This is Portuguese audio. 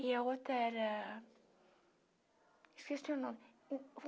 E a outra era... Esqueci o nome.